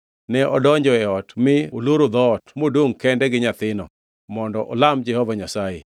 Ne odonjo e ot mi oloro dhoot modongʼ kende gi nyathino mondo olam Jehova Nyasaye.